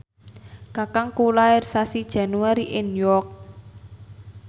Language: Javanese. kakangku lair sasi Januari ing York